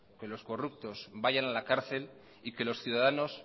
que los corruptos vayan a la cárcel y que los ciudadanos